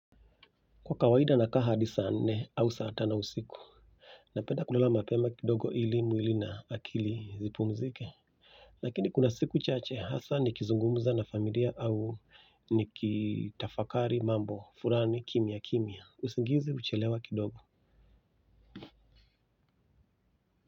Kwa kawaida nakaa hadi saa nne au saa tano usiku. Napenda kulala mapema kidogo ili mwili na akili zipumzike lakini kuna siku chache hasa nikizungumza na familia au nikitafakari mambo fulani kimia kimia usingizi huchelewa kidogo.